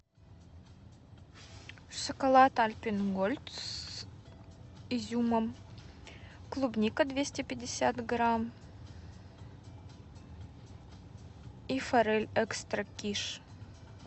шоколад альпен гольд с изюмом клубника двести пятьдесят грамм и форель экстра киш